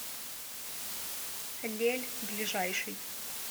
лель ближайший